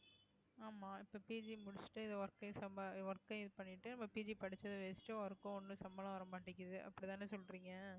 ஆமா இப்ப PG முடிச்சுட்டு இது வரைக்கும் work யும் சம்பா~ work ஐயும் இது பண்ணிட்டு இப்ப PG படிச்சது waste உ work கும் ஒண்ணு சம்பளம் வர மாட்டேங்குது அப்படித்தானே சொல்றீங்க